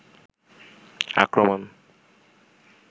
আক্রমণ